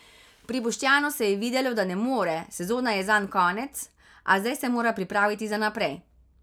Pri Boštjanu se je videlo, da ne more, sezone je zanj konec, a zdaj se mora pripraviti za naprej.